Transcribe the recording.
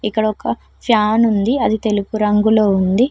ఇక్కడ ఒక ఫ్యాన్ ఉంది అది తెలుపు రంగులో ఉంది